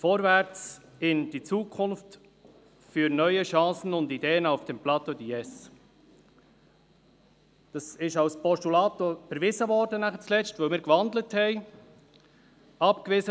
Vorwärts in die Zukunft, für neue Chancen und Ideen auf dem Plateau de Diesse!» Diese Motion wurde letztendlich als Postulat überwiesen, weil wir sie gewandelt hatten.